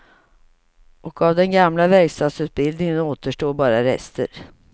Och av den gamla verkstadsutbildningen återstår bara rester.